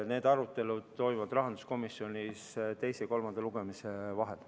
Need arutelud toimuvad rahanduskomisjonis teise ja kolmanda lugemise vahel.